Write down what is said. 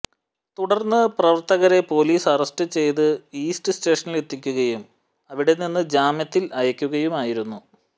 തുടർന്ന് പ്രവർത്തകരെ police arrest ചെയ്ത് ഈസ്റ്റ് സ്റ്റേഷനിൽ എത്തിക്കുകയും അവിടെ നിന്ന് ജാമ്യത്തിൽ അയക്കുകയുമായിരുന്നു